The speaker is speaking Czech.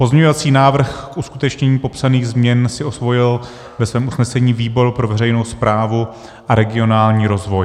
Pozměňovací návrh k uskutečnění popsaných změn si osvojil ve svém usnesení výbor pro veřejnou správu a regionální rozvoj.